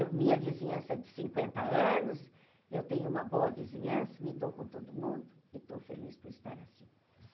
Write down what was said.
Eu minha vizinhança é de cinquenta anos, eu tenho uma boa vizinhança, me dou com todo mundo, e estou feliz por estar assim.